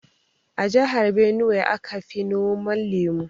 A jihar Binuwai aka fi noman lemu.